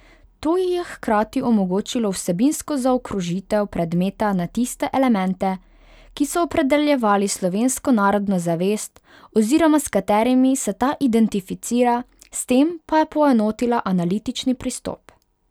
To ji je hkrati omogočilo vsebinsko zaokrožitev predmeta na tiste elemente, ki so opredeljevali slovensko narodno zavest oziroma s katerimi se ta identificira, s tem pa je poenotila analitični pristop.